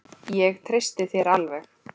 Ég treysti þér alveg!